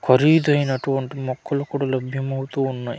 ఖరీదైనటు వంటి మొక్కలు కూడా లబ్యమౌతూ ఉన్నాయి .